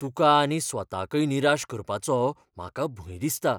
तुका आनी स्वताकय निराश करपाचो म्हाका भंय दिसता.